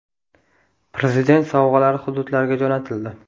Prezident sovg‘alari hududlarga jo‘natildi.